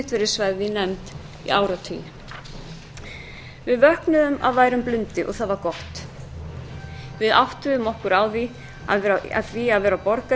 svæfð í nefnd í áratugi við vöknuðum af værum blundi og það var gott við áttuðum okkur á því að í því að vera borgari